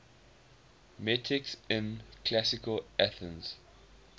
metics in classical athens